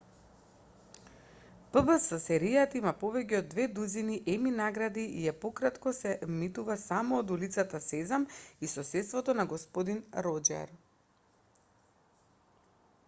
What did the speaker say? пбс-серијата има повеќе од две дузини еми награди и е пократко се емитува само од улицата сезам и соседството на господин роџер